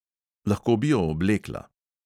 Lahko bi jo oblekla.